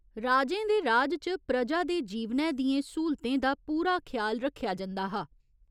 राजें दे राज च प्रजा दे जीवनै दियें स्हूलतें दा पूरा ख्याल रक्खेआ जंदा हा।